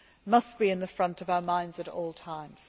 must be at the forefront of our minds at all times.